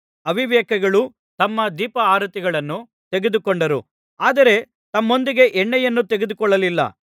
ಅವಿವೇಕಿಗಳು ತಮ್ಮ ದೀಪಾರತಿಗಳನ್ನು ತೆಗೆದುಕೊಂಡರು ಆದರೆ ತಮ್ಮೊಂದಿಗೆ ಎಣ್ಣೆಯನ್ನು ತೆಗೆದುಕೊಳ್ಳಲಿಲ್ಲ